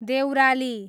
Deurali